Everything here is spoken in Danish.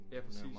Ja præcis